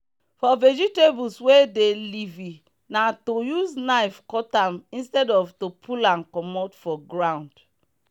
for vegetables wey dey leafy na to use knife cut am instead of to pull am comot for ground.